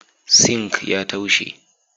"Sink" ya taushe.